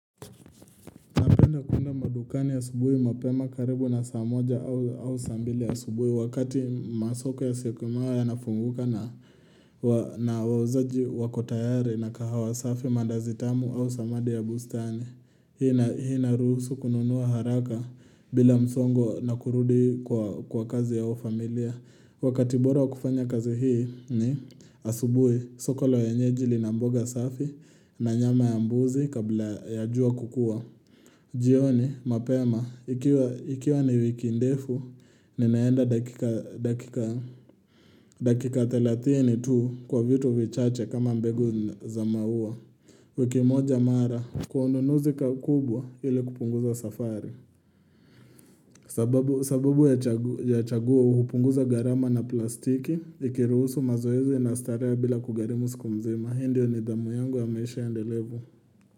Napenda kuenda madukani asubuhi mapema karibu na saa moja au saa mbili asubuhi wakati masoko ya siokimao ya nafunguka na wauzaji wako tayari na kahawa safi mandazi tamu au samadi ya bustani. Hii inarusu kununua haraka bila msongo na kurudi kwa kazi au familia. Wakati bora wakufanya kazi hii ni asubuhi soko la wenyeji lina mboga safi na nyama ya mbuzi kabla ya jua kukua. Jioni, mapema, ikiwa ni wiki ndefu, ninaenda dakika thelathni tu kwa vitu vichache kama mbegu za maua. Wiki moja mara, kwa unnuuzi kaukubwa ili kupunguza safari. Sababu ya chaguo, hupunguza gharama na plastiki, ikiruhusu mazoezi na starehe bila kugharimu siku mzima. Hii ndiyo nidhamu yangu ya maisha endelevu.